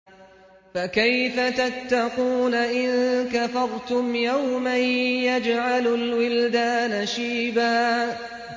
فَكَيْفَ تَتَّقُونَ إِن كَفَرْتُمْ يَوْمًا يَجْعَلُ الْوِلْدَانَ شِيبًا